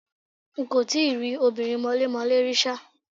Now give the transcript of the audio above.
N kò tí ì rí obìnrin mọlémọlẹ́ rí ṣá.